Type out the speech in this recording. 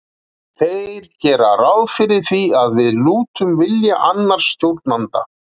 Þeir gera ráð fyrir því að við lútum vilja annars stjórnanda.